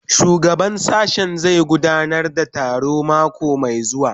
Shugaban sashen zai gudanar da taro mako mai zuwa